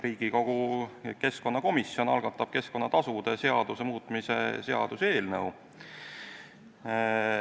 Riigikogu keskkonnakomisjon algatab keskkonnatasude seaduse muutmise seaduse eelnõu.